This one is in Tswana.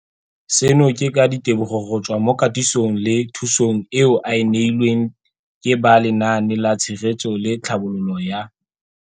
Seno ke ka ditebogo go tswa mo katisong le thu song eo a e neilweng ke ba Lenaane la Tshegetso le Tlhabololo ya